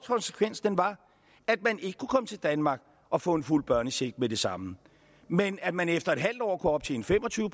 konsekvensen var at man ikke kunne komme til danmark og få en fuld børnecheck med det samme men at man efter en halv år kunne optjene fem og tyve